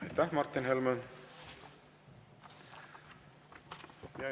Aitäh, Martin Helme!